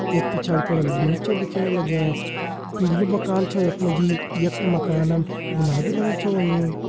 यख पिछाड़ी फुण हम बिम छन दिखेण लग्यां पीलू मकान छा यख मा जी यख मकानम गुलाबी रंग छ होयुं।